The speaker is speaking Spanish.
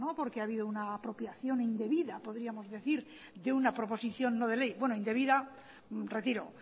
porque ha habido una apropiación indebida podríamos decir de una proposición no de ley bueno indebida retiro